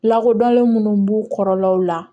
Lakodɔnlen munnu b'u kɔrɔlaw la